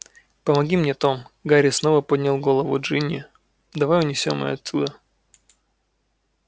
помоги мне том гарри снова поднял голову джинни давай унесём её оттуда